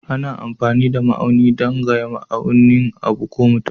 Ana amfani da ma'auni dan gaya nauyin abu ko mutum.